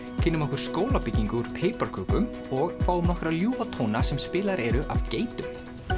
kynnum okkur skólabyggingu úr piparkökum og fáum nokkra ljúfa tóna sem spilaðir eru af geitum